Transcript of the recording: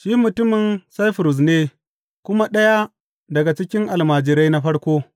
Shi mutumin Saifurus ne kuma ɗaya daga cikin almajirai na farko.